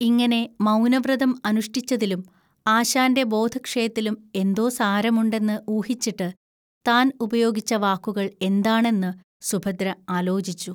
ഇങ്ങനെ മൗനവ്രതം അനുഷ്ടിച്ചതിലും ആശാന്റെ ബോധക്ഷയത്തിലും എന്തോ സാരമുണ്ടെന്ന് ഊഹിച്ചിട്ട്, താൻ ഉപയോഗിച്ച വാക്കുകൾ എന്താണെന്ന് സുഭദ്ര ആലോചിച്ചു.